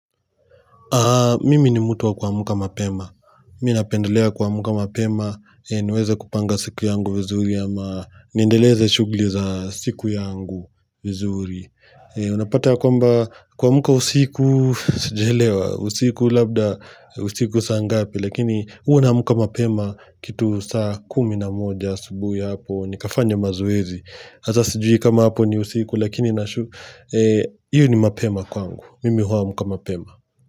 Mimi ni mtu wa kuamka mapema. Mimi napendelea kuamka mapema. Niweze kupanga siku yangu vizuri ama nindeleze shugli za siku yangu vizuri. Unapata ya kwamba kuamka usiku sijaelewa. Usiku labda usiku saa ngapi lakini huwa naamka mapema kitu saa kumi na moja asubuhi hapo. Nikafanya mazoezi. Hasa sijui kama hapo ni usiku lakini hio ni mapema kwangu. Mimi huamka mapema.